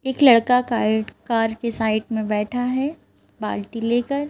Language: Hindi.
एक लड़का काइट कार के साइट में बैठा है बाल्टी लेकर --